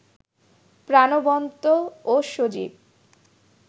প্রাণবন্ত ও সজীব